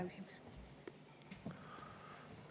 See oli väga hea küsimus.